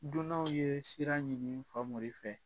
Dunanw ye sira ɲini Famori fɛ